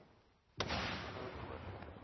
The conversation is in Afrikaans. noupoort